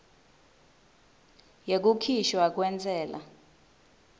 yekukhishwa kwentsela